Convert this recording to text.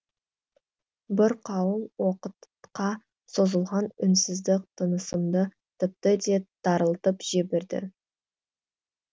бір қауым уақытқа созылған үнсіздік тынысымды тіпті де тарылтып жіберді